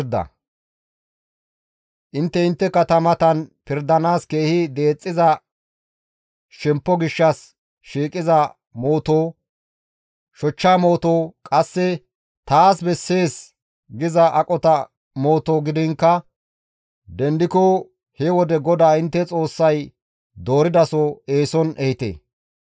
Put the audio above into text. Intte intte katamatan pirdanaas keehi deexxiza shemppo gishshas shiiqiza mooto, shochcha mooto, qasse, «Taas bessees» giza aqota mooto gidiinkka dendiko he wode GODAA intte Xoossay dooridaso eeson ehite.